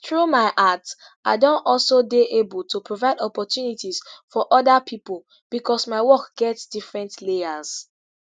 through my art i don also dey able to provide opportunities for oda pipo becos my work get different layers